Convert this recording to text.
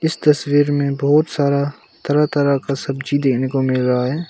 इस तस्वीर में बहुत सारा तरह तरह का सब्जी देखने को मिल रहा है।